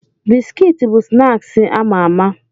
Bisikiti bụ snaaksi ama ama.